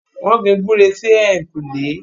wọ́n gbin “gbúre” sí ẹ̀yìnkùlé